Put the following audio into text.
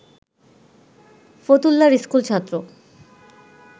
ফতুল্লার school ছাত্র